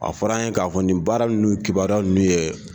A fɔra an ye k'a fɔ nin baara ninnu kibaruya ninnu ye